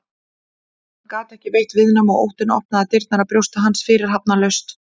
En hann gat ekki veitt viðnám og óttinn opnaði dyrnar að brjósti hans fyrirhafnarlaust.